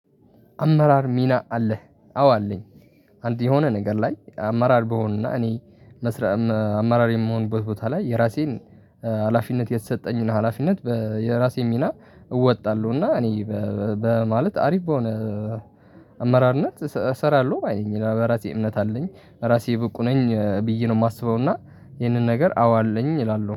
አመራር ሚና አለህ አዎ አለኝ። አንድ የሆነ ነገር ላይ አመራር በሆንና እኔ መስራት አመራር የምሆንበት ቦታ ላይ የራሴን ሀላፊነት የተሰጠኝና ሀላፊነት የራሴን ሚና እወጣለሁ እና እኔ በማለት አሪፍ በሆነ አመራርነት እሰራለሁ ባይ ነኝ። በራሴ እምነት አለኝ ራሴ ብቁ ነኝ ብዬ ነው የማስበው። እና ይሄንን ነገር አዎ አለኝ እላለሁ